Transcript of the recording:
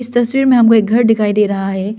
तस्वीर में हमको एक घर दिखाई दे रहा है।